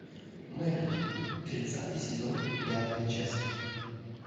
мерлин тридцатый сезон пятая часть